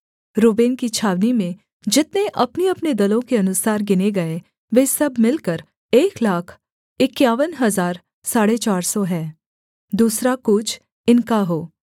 Reuben की छावनी में जितने अपनेअपने दलों के अनुसार गिने गए वे सब मिलकर एक लाख इक्यावन हजार साढ़े चार सौ हैं दूसरा कूच इनका हो